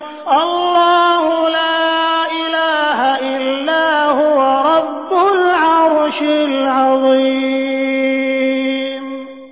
اللَّهُ لَا إِلَٰهَ إِلَّا هُوَ رَبُّ الْعَرْشِ الْعَظِيمِ ۩